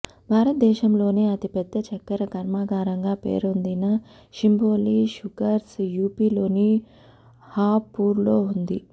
భారత దేశంలోనే అతిపెద్ద చక్కెర కర్మాగారంగా పేరొందిన శింభోలి షుగర్స్ యూపీలోని హాపూర్లో ఉంది